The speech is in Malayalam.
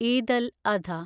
ഈദ് അൽ അധ